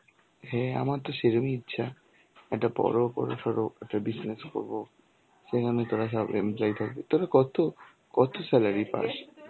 হ্যাঁ আমার তো সেরমই ইচ্ছা. একটা বড় ক~ সরো একটা business করবো. সেখানে তরা সব employee থাকবি. তোরা কত~ কত salary পাস?